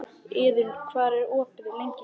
Iðunn, hvað er opið lengi í Kjöthöllinni?